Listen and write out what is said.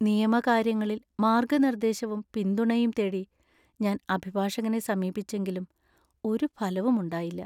നിയമ കാര്യങ്ങളിൽ മാർഗനിർദേശവും പിന്തുണയും തേടി ഞാൻ അഭിഭാഷകനെ സമീപിച്ചെങ്കിലും ഒരു ഫലവുമുണ്ടായില്ല!